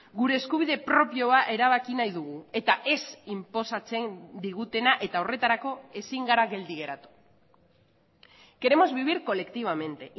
gure eskubide propioa erabaki nahi dugu eta ez inposatzen digutena eta horretarako ezin gara geldi geratu queremos vivir colectivamente